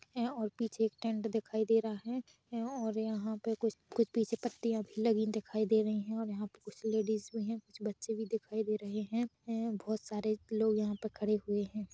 है और पीछे एक टेन्ट दिखाई दे रहा है और यहाँ पे कुछ-कुछ पीछे पत्तिया भी लगी दिखाई दे रही है और कुछ लेडीज भी है कुछ बच्चे भी दिखाई दे रहे है बहौत सारे लोग यहाँ पे खड़े हुए है।